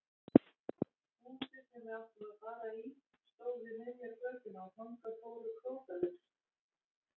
Húsið sem við áttum að fara í stóð við miðja götuna og þangað fóru krókalaust.